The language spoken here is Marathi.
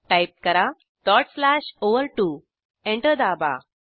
टाईप करा डॉट स्लॅश ओव्हर2 एंटर दाबा